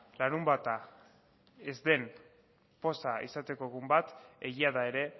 larunbata ez den poza izateko egun bat egia da ere